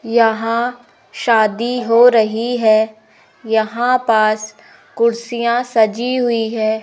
यहां शादी हो रही है यहां पास कुर्सियां सजी हुई है।